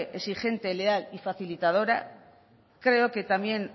exigente leal y facilitadora creo que también